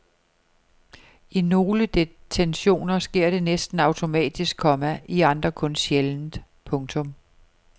I nogle detentioner sker det næsten automatisk, komma i andre kun sjældent. punktum